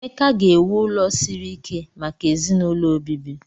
Emeka ga-ewu ụlọ siri ike maka ezinaụlọ obibi.